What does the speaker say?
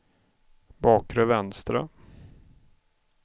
bakre vänstra